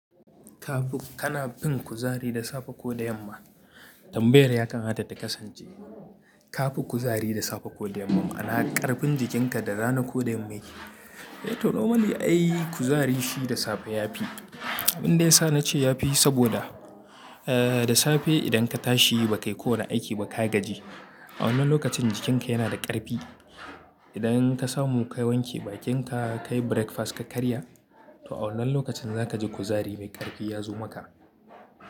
Ka fi, kana fin kuzari da safe ko da yamma? Tambayar ya kamata ta kasance ka fi kuzari da safe ko da yamma, ana ƙarfin jikinka da rana ko da mai. Eh to normally ai kuzari shi da safe ya fi. Inda ya sa na ce ya fi saboda, da safe idan ka tashi ba kai ko na aiki ba ka gaji, awalan lokacin jikinka yana da ƙarfi. Idan ka samu ka wanke bakinka, ka yi breakfast ka karya, to awannan lokacin zaka ji kuzari mai ƙarfi ya zo maka.